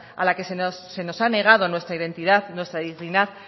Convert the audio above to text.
a las que se nos ha negado nuestra identidad nuestra dignidad